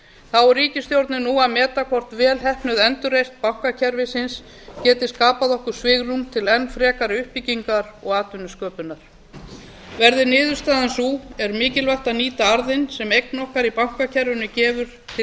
þá er ríkisstjórnin nú að meta hvort vel heppnuð endurreisn bankakerfisins geti skapað okkur svigrúm til enn frekari uppbyggingar og atvinnusköpunar verði niðurstaðan sú er mikilvægt að nýta arðinn sem eign okkar í bankakerfinu gefur til